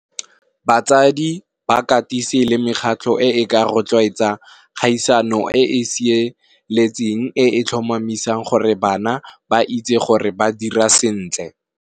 Batsadi ba katise le mekgatlho e ka rotloetsa kgaisano e sireletseng e tlhomamisang gore bana ba itse gore ba dira sentle.